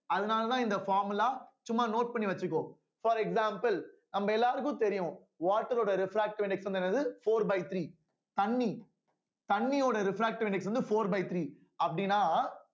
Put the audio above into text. அதனாலதான் இந்த formula சும்மா note பண்ணி வச்சுக்கோ for example நம்ம எல்லாருக்கும் தெரியும் water ரோட refractive index வந்து என்னது four by three தண்ணி தண்ணியோட refractive index வந்து four by three அப்படினா